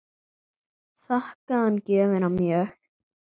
Þakkaði hann gjöfina mjög.